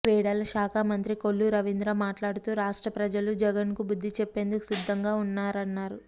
క్రీడల శాఖ మంత్రి కొల్లు రవీంద్ర మాట్లాడుతూ రాష్ట్ర ప్రజలు జగన్కు బుద్ధి చెప్పేందుకు సిద్ధంగా ఉన్నారన్నారు